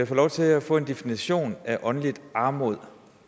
få lov til at få en definition af åndelig armod